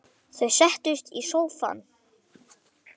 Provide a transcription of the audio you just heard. Þau settust í sófann.